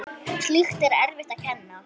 Slíkt er erfitt að kenna.